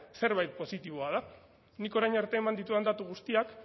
zerbait positiboa da nik orain arte eman ditudan datu guztiak